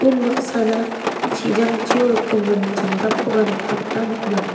unbaksana chijangchio rikgimin jamdapkoba nikna gita man·a.